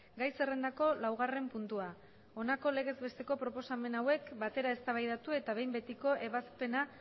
gai zerrendako laugarren puntua honako legez besteko proposamen hauek batera eztabaidatu eta behin betiko ebazpena